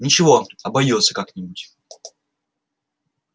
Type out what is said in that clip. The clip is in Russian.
ничего обойдётся как нибудь